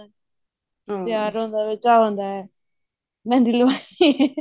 ਤਿਆਰ ਹੋਣ ਦਾ ਵੀ ਚਾਹ ਹੁੰਦਾ ਹੈ ਮਹਿੰਦੀ